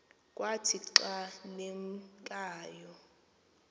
kwathi xa limkayo